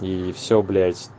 и всё блять